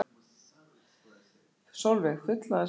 Sólveig: Fullnaðarsigur?